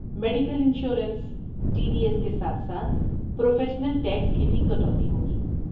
Medical insurance, T D S کے ساتھ ساتھ پروفیشنل ٹیکس کی بھی کٹوتی ہوگی۔